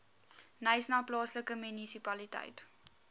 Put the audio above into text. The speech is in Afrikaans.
knysna plaaslike munisipaliteit